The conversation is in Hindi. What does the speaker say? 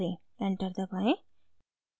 enter दबाएं